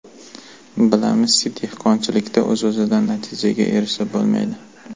Bilamizki, dehqonchilikda o‘z-o‘zidan natijaga erishib bo‘lmaydi.